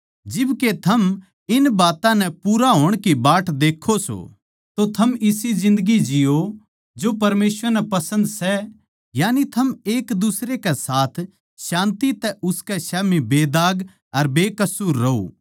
जिब के थम इन बात्तां नै पूरा होण की बाट देक्खो सों तो थम इसी जिन्दगी जिओ जो परमेसवर नै पसन्द सै यानी थम एक दुसरे के साथ शान्ति तै उसकै स्याम्ही बेदाग अर बेकसूर रहो